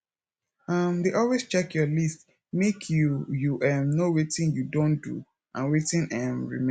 um dey always check your list make you you um know wetin you don do and wetin um remain